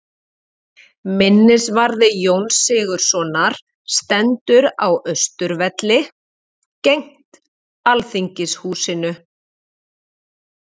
Minnisvarði Jóns Sigurðssonar stendur á Austurvelli, gegnt Alþingishúsinu.